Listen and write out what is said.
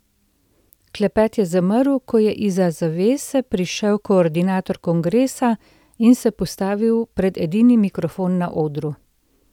Klepet je zamrl, ko je izza zavese prišel koordinator kongresa in se postavil pred edini mikrofon na odru.